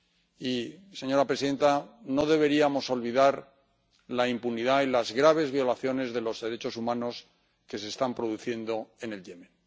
Y, señora presidenta, no deberíamos olvidar la impunidad en las graves violaciones de los derechos humanos que se están produciendo en Yemen.